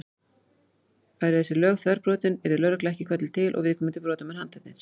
Væru þessi lög þverbrotin yrði lögregla ekki kölluð til og viðkomandi brotamenn handteknir.